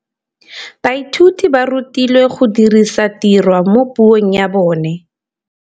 Baithuti ba rutilwe go dirisa tirwa mo puong ya bone.